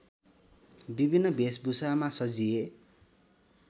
विभिन्न भेषभूषामा सजिए